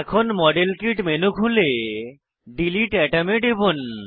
এখন model kit menu খুলে delete atom এ টিপুন